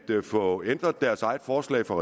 af at få ændret deres eget forslag fra